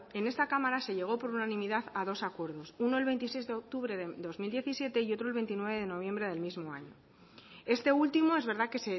en esta cámara se llegó por unanimidad a dos acuerdos uno el veintiséis de octubre de dos mil diecisiete y otro el veintinueve de noviembre del mismo año este último es verdad que